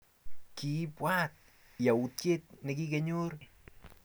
kiipwat yautyet nekikanyor inendet eng tai